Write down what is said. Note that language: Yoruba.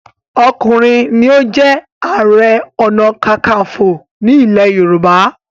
ọkùnrin ní o jé aré ọnà kankanfo ní ilè yorùbá.